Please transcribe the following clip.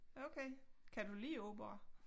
Okay kan du lide opera?